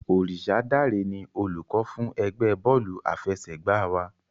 Orisadare ni olùkọ́ fún ẹgbẹ́ bọ́ọ̀lù àfẹsẹ̀gbá wa.